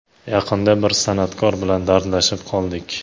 Yaqinda bir san’atkor bilan dardlashib qoldik.